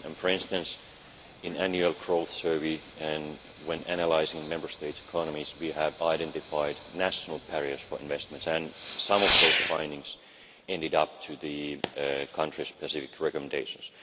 For instance, in annual growth surveys and when analysing Member States' economies, we have identified national barriers for investments and some of those findings ended up in the country specific recommendations.